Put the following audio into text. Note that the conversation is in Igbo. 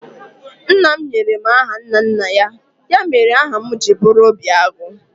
Nna m nyere m aha nna nna ya, ya mere aha m ji bụrụ Obiagu